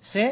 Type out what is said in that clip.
sé